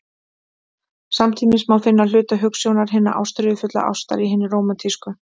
Samtímis má finna hluta hugsjónar hinnar ástríðufullu ástar í hinni rómantísku.